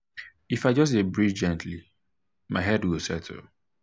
if i just dey breathe gently my head go settle.